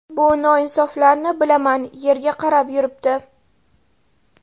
Bu noinsoflarni bilaman, yerga qarab yuribdi.